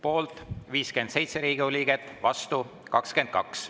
Poolt 57 Riigikogu liiget, vastu 22.